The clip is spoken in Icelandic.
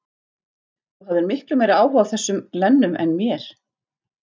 Þú hafðir miklu meiri áhuga á þessum glennum en mér.